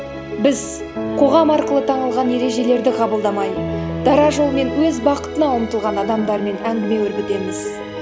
біз қоғам арқылы таңылған ережелерді қабылдамай дара жолмен өз бақытына ұмтылған адамдармен әңгіме өрбітеміз